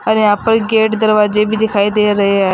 और यहां पर गेट दरवाजे भी दिखाई दे रहे हैं।